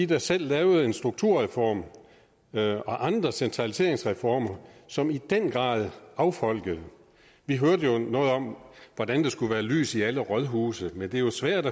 der selv lavede en strukturreform og andre centraliseringsreformer som i den grad affolkede vi hørte jo noget om hvordan der skulle være lys i alle rådhuse men det er jo svært